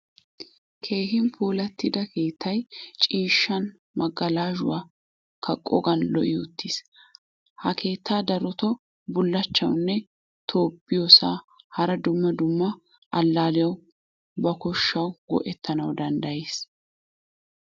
Keehin puulattida keettay ciishshaan magalashshuwaa kaqqogan lo'i uttiis. Ha keettaa darotto bulachchanawu, tobbiyosa, hara dumma dumma allaliyawu ba koshshawu go'ettanawu danddayees.